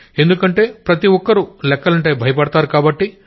ఎందుకంటే ప్రతొక్కరూ లెక్కలంటే భయపడతారు కాబట్టి